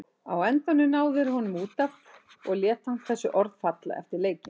Á endanum ná þeir honum út af og lét hann þessi orð falla eftir leikinn.